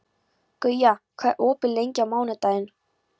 Guja, hvað er opið lengi á mánudaginn?